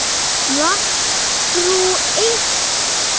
Vantrú eykst.